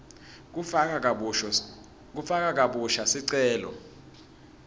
kufaka kabusha sicelo